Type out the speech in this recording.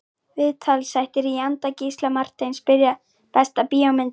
Viðtalsþættir í anda Gísla Marteins Besta bíómyndin?